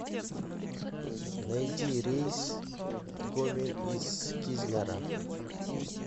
найди рейс в гомель из кизляра